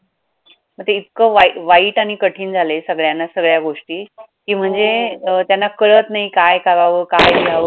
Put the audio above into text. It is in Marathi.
मग ते इतकं वाई वाईट आणि कठीण सगळ्यांना सगळ्या गोष्टी की म्हणजे त्यांना कळत नाही काय करावं, काय लिहावं, काय